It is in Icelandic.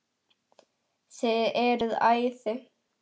Þið eruð æði.